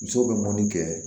Musow bɛ mun kɛ